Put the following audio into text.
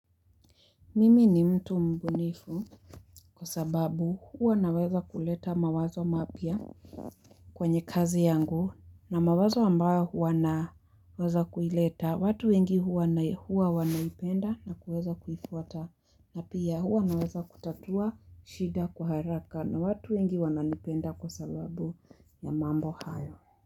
Mimi ni mtu mbunifu kwa sababu huwa naweza kuleta mawazo mapya kwenye kazi yangu na mawazo ambayo huwa na naweza kuileta. Watu wengi huwa wanai huwa wanaipenda na kuweza kuifuta na pia huwa naweza kutatua shida kwa haraka na watu wengi wananipenda kwa sababu ya mambo hayo.